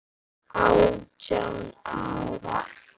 Átján ár.